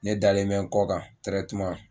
Ne dalen mɛ n kɔ kan